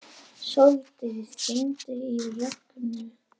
Sóldís, hringdu í Rögnu.